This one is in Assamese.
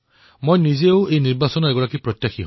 মই নিজেও এই নিৰ্বাচনৰ এক প্ৰত্যাশী